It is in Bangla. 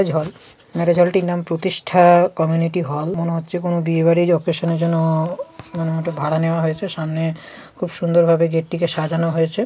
ম্যারেজ হল ম্যারেজ হল টির নাম প্রতিষ্ঠা কমিউনিটি হল । মনে হচ্ছে কোন বিয়ে বাড়ির ওকেশনের জন্য মানে ওটা ভাড়া নেওয়া হয়েছে সামনে খুব সুন্দর ভাবে গেটটিকে সাজানো হয়েছে।